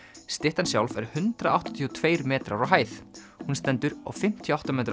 styttan sjálf er hundrað áttatíu og tveir metrar á hæð hún stendur á fimmtíu og átta metra